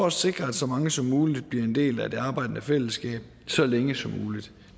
at sikre at så mange som muligt bliver en del af det arbejdende fællesskab så længe som muligt